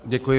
Děkuji.